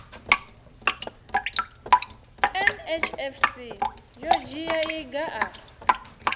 nhfc yo dzhia iga a